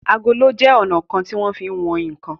Àgòló jé ọnà kán tí wón fí wón nkán.